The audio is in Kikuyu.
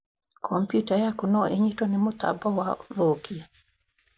Kompiuta yaku no ĩnyitwo nĩ mũtambo wa ũthũkia?